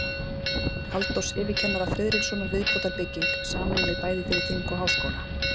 Halldórs yfirkennara Friðrikssonar viðbótarbygging, sameiginleg bæði fyrir þing og háskóla.